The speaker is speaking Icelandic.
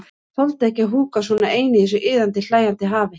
Þoldi ekki að húka svona ein í þessu iðandi, hlæjandi hafi.